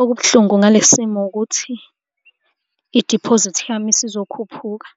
Okubuhlungu ngalesi simo ukuthi idiphozithi yami isizokhuphuka,